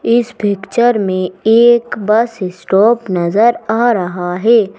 इस पिक्चर में एक बस स्टॉप नजर आ रहा है।